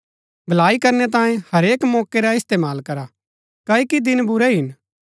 भलाई करनै तांये हरेक मौके का इस्तेमाल करा क्ओकि दिन बुरै हिन